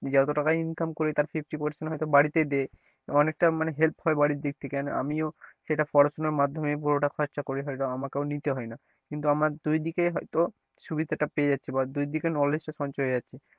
যত টাকা income করি তার fifty percent হয়ত বাড়ীতে দেয় অনেকটা মানে help হয় বাড়ির দিক থেকেও আর আমিও সেটা পড়াশোনার মাধ্যমে পুরোটা খরচা করি হয়তো আমাকেও নিতে হয় না কিন্তু আমার দুই দিকে হয়তো সুবিধাটা পেয়ে যাচ্ছি বা দুই দিকে knowledge টা সঞ্চয় হয়ে যাচ্ছে,